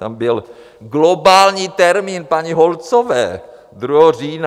Tam byl globální termín paní Holcové 2. října.